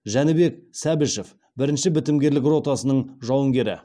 жәнібек сәбішев бірінші бітімгерлік ротасының жауынгері